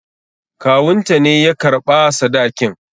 Kawunta ne ya karɓa sadakin.